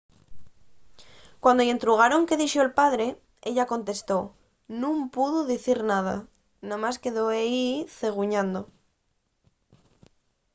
cuando-y entrugaron qué dixo’l padre ella contestó nun pudo dicir nada – namás quedó ehí ceguñando